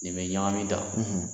Nin bɛ ɲagami tan